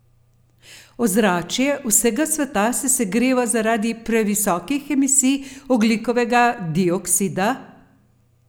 Ozračje vsega sveta se segreva zaradi previsokih emisij ogljikovega dioksida?